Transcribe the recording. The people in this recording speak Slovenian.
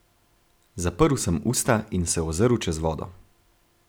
Zaprl sem usta in se ozrl čez vodo.